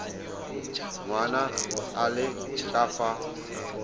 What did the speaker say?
ngwana a le ka fa